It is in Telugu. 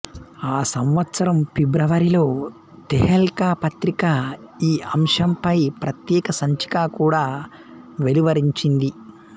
ఆ సంవత్సరం ఫిబ్రవరిలో తెహెల్కా పత్రిక ఈ అంశంపై ప్రత్యేక సంచిక కూడా వెలువరించింది